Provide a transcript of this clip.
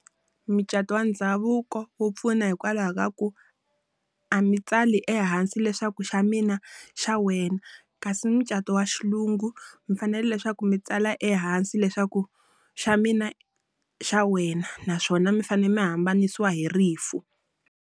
Mucato wa ndhavuko wu pfuna hikwalaho ka ku, a mi tsali ehansi leswaku xa mina xa wena. Kasi mucato wa xilungu, mi fanele leswaku mi tsala ehansi leswaku xa mina xa wena naswona mi fanele mi hambanisa hi rifu.